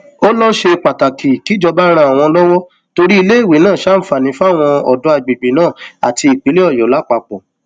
ó lọ ṣe pàtàkì kíjọba ran àwọn lọwọ torí iléèwé náà ṣàǹfààní fáwọn ọdọ àgbègbè náà àti ìpínlẹ ọyọ lápapọ